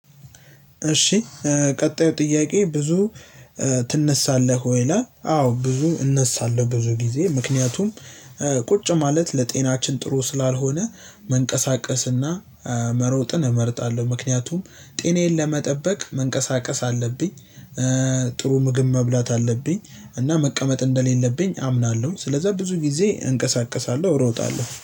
እሺ ቀጣዩ ጥያቄ ብዙ ትነሳለህ ወይ ይላል? አዎ ብዙ እነሳለሁ ብዙ ጊዜ ምክንያቱም ቁጭ ማለት ለጤናችን ጥሩ ስላልሆነ መንቀሳቀስና መሮጥን እመርጣለሁ ምክንያቱም ጤናዬን ለመጠበቅ መንቀሳቀስ አለብኝ። ጥሩ ምግብ መብላት አለብኝ እና መቀመጥ እንደሌለብኝ አምናለሁ ስለዛ ብዙ ጊዜ እንቀሳቀሳለሁ እሮጣለሁ